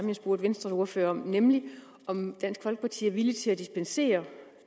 jeg spurgte venstres ordfører om nemlig om dansk folkeparti er villig til at dispensere